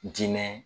Diinɛ